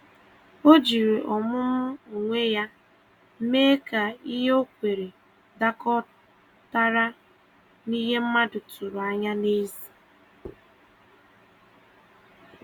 Ọ jiri ọmụmụ onwe ya mee ka ihe ọ kweere dakọtara na ihe mmadụ tụrụ anya n’èzí.